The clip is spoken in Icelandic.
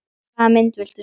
Hvaða mynd viltu sjá?